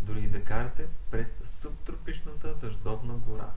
дори и да карате през субтропичната дъждовна гора